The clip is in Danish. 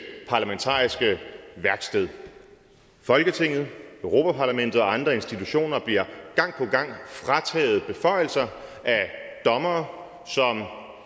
parlamentariske værksted folketinget europa parlamentet og andre institutioner bliver gang på gang frataget beføjelser af dommere som